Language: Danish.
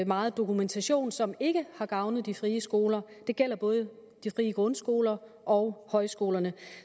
meget dokumentation som ikke har gavnet de frie skoler det gælder både de frie grundskoler og højskolerne